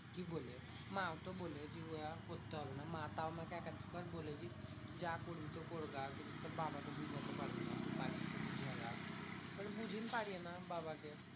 কি বলে? মা তো বলেই দি উয়া করতে হবে না। মা তাও আমাকে এক দু বার বলেছে যা করবি তো কর গা। কিন্তু তোর বাবাকে বুঝাতে পারবো না। তু পারিস তো বুঝা গা। এবার বুঝিন পারি না বাবাকে।